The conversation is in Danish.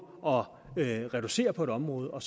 at reducere på et område og